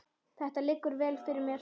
Þetta liggur vel fyrir mér.